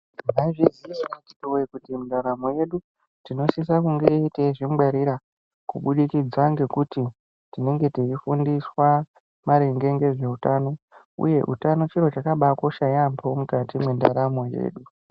Mwaizvizi yavo ere antu woye kuti ndaramo yedu tinosise kunge teizvi ngwarira kubudikidza ngekuti tinenge tei fundiswa maringe nezveutano uye, utano chiro chakabaa kosha yampo mukati mendaramo yedu.